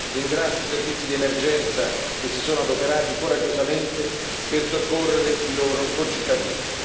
Ringrazio i servizi di emergenza che si sono adoperati coraggiosamente per soccorrere i loro concittadini.